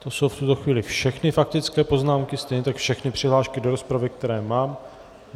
To jsou v tuto chvíli všechny faktické poznámky, stejně tak všechny přihlášky do rozpravy, které mám.